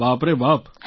બાપ રે બાપ